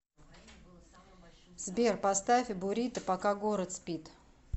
сбер поставь бурито пока город спит